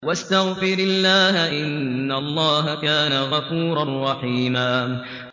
وَاسْتَغْفِرِ اللَّهَ ۖ إِنَّ اللَّهَ كَانَ غَفُورًا رَّحِيمًا